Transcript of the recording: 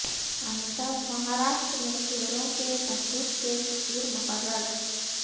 امیتابھ مہاراشٹر میں شیروں کے تحفظ کے سفیر مقرر